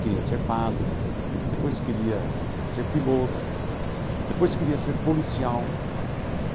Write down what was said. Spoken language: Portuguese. queria ser padre, depois queria ser piloto, depois queria ser policial.